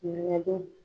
Ŋɛɲɛgɛn